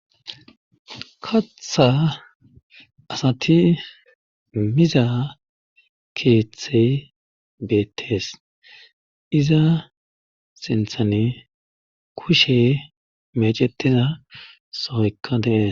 katha asati miza keeththey beettees iza sinthane kushe mecetiza sohoykka dees